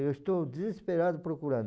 Eu estou desesperado procurando.